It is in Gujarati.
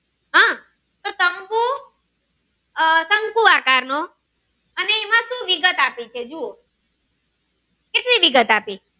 આહ શંકુ આકાર નો અને એમાંથી વિગત આપી છે જુઓ કેટલી વિગત આપી